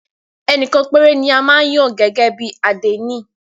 Ẹnìkan péré ni a máa ń yàn gẹ́gẹ́ bí àdénì.